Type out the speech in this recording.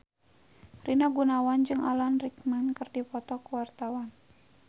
Rina Gunawan jeung Alan Rickman keur dipoto ku wartawan